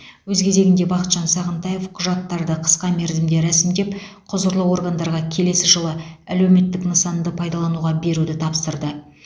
өз кезегінде бақытжан сағынтаев құжаттарды қысқа мерзімде рәсімдеп құзырлы органдарға келесі жылы әлеуметтік нысанды пайдалануға беруді тапсырды